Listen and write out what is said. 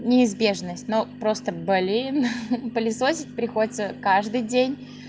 неизбежность но просто блин пылесосить приходится каждый день